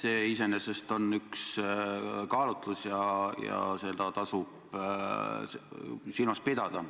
See iseenesest on üks kaalutlusi ja seda tasub silmas pidada.